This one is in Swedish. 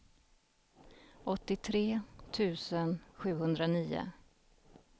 åttiotre tusen sjuhundranio